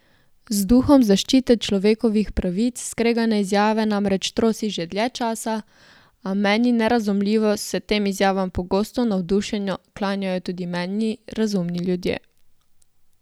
Z duhom zaščite človekovih pravic skregane izjave namreč trosi že dlje časa, a, meni nerazumljivo, se tem izjavam pogosto navdušeno klanjajo tudi meni razumni ljudje.